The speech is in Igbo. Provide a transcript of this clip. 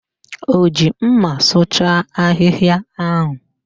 O ji mma sụcha ahịhịa ahụ?